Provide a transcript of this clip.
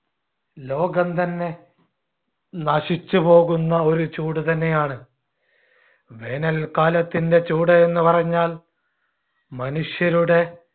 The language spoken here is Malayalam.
ലോകം തന്ന നശിച്ചുപോകുന്ന ഒരു ചൂടുതന്നെയാണ് വേനൽക്കാലത്തിന്‍ടെ ചൂട് എന്നുപറഞ്ഞാൽ മനുഷ്യരുടെ